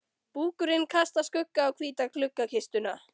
Búkurinn kastar skugga á hvíta gluggakistuna.